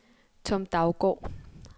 Tom Daugaard